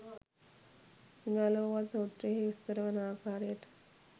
සිඟාලෝවාද සූත්‍රයෙහි විස්තර වන ආකාරයට